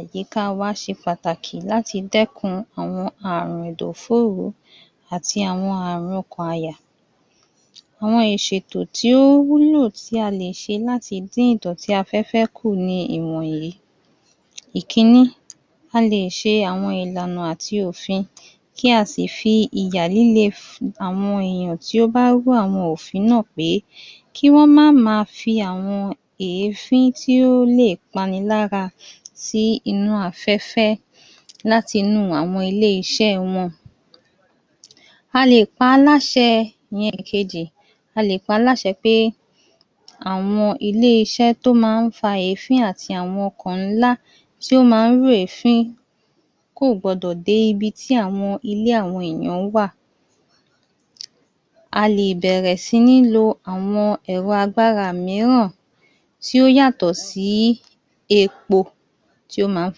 àyíká wa ṣe pàtàkì láti dẹ́kun àwọn àrùn ẹ̀dọ̀ fóró àti àwọn àrùn ọ̀kàn àyà. Àwọn ìṣètò tí o wúlò tí a lè sẹ láti dín ìdọ̀tí afẹ́fẹ́ kù ni ìmọ̀ yìí. Ìkíní. A lè ṣe àwọn ìlànà àti òfin, kí a sì fi ìyà líle fún àwọn èèyàn ti o bá rú àwọn òfin náà pé kí wọ́n má à ma fi àwọn èéfín tí o lè pa ni lára sínú afẹ́fẹ́ láti inú àwọn ilé-iṣẹ́ wọn. A lè pa á làṣẹ ìyẹn ìkejì A lè pa á làṣẹ pé àwọn ilé-iṣẹ tí o máa ń fa èéfín àti àwọn ọkọ̀ ńlá tí ó má ń rú èéfín kò gbọ́dọ̀ dé ibi tí àwọn ilé àwọn èèyàn wà. A lè bẹ̀rẹ̀ síní lo àwọn ẹ̀rọ agbára mìíràn tí o yàtọ̀ sí epo tí ó máa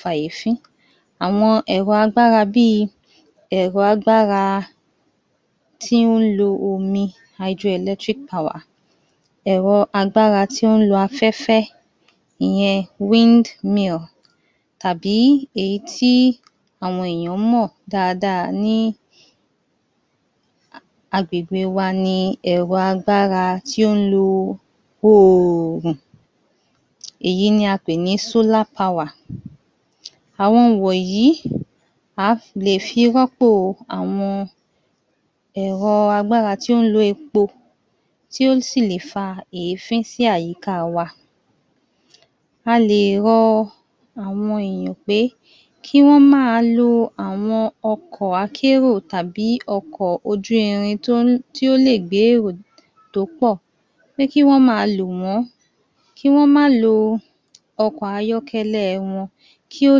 fa èéfín. Àwọn ẹ̀rọ agbára bí ẹ̀ro agbára tí o ń lo omi [hydro-eletric power] Ẹ̀ro agbára tí o ń lo afẹ́fẹ́ ìyẹn [windmill] tàbí èyí tí àwọn èèyàn mọ̀ dáadáa ní agbègbè wa ni ẹ̀ro agbára tí o lo oòrùn. Èyí ni a pè ní [solar power] àwọn wọ̀nyí a fi lè rọ́pò àwọn ẹ̀rọ agbára tí o ń lo epo tí o sì lè fa èéfín sí àyíká wa. A lè rọ àwọn èèyàn pé kí wọn máa lo àwọn ọkọ̀ akérò tàbí ọkọ̀ ojú irin tó lè gbé èrò tó pọ̀. Pé kí wọn máa lo wọn kí wọn mà lo ọkọ̀ ayọ́kẹ́lẹ́ wọn kí ó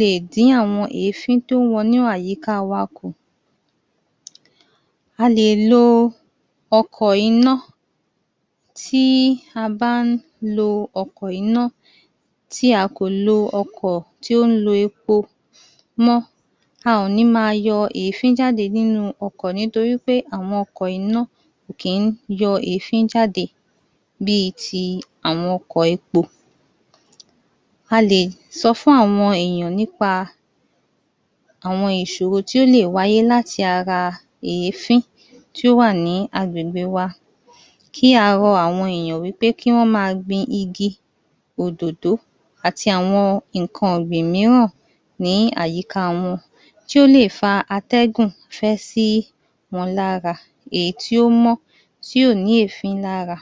lè dín àwọn èéfín tí o ń wọnú àyíká wa kù. A lè lo ọkọ̀ iná tí a bá ń lo ọkọ̀ iná tí a kò lo ọkọ̀ tí o ń lo epo mọ́. A ò ní máa yọ èéfín jáde nínú ọkọ̀ nítorí pé àwọn ọkọ̀ iná kì í yọ èéfín jáde bí ti àwọn ọkọ̀ epo. A lè sọ fún àwọn èèyàn nípa àwọn ìṣòro tí ó lè wáyé láti ara èéfín tí o wà ní agbègbè wa. kí a rọ àwọn èèyàn wí pé kí wọn máa gbin igi òdòdó àti àwọn nǹkan ìgbìn mìíràn ní àyíká wọn tí ó lè fa atẹ́gùn fẹ́ sí wọn lára. Èyí tí ó mó tí ò ní èéfín lára.